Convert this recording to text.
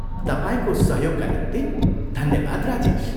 तपाईँको सहयोगका निम्ति धन्यवाद, राजेश।